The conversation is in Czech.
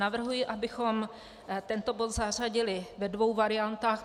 Navrhuji, abychom tento bod zařadili, ve dvou variantách.